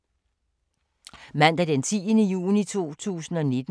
Mandag d. 10. juni 2019